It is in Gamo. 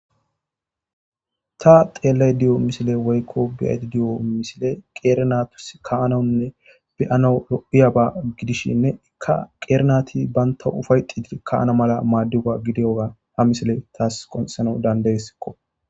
Ta xeellay di7o misile woykko beyati di7o misile qeerenatus kaananne beyana ro7iyaba gidishshinne ikka qeerenati baynta ufayxidi ka7ana mala maaddiwa gidiyoga ha misile taas qonxano dandaesikko.